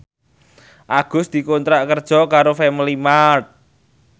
Agus dikontrak kerja karo Family Mart